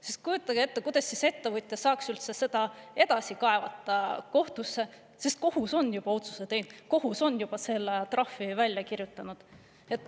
Sest kujutage ette, kuidas siis ettevõtja saaks üldse seda edasi kaevata kohtusse, sest kohus on juba otsuse teinud, kohus on juba selle trahvi välja kirjutanud.